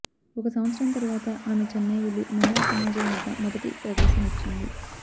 ఒక సంవత్సరం తరువాత ఆమె చెన్నై వెళ్ళి మహిళా సమాజం వద్ద మొదటి ప్రదర్శననిచ్చింది